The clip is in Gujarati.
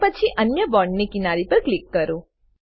અને પછી અન્ય બોન્ડ ની કિનારી પર ક્લીક કરો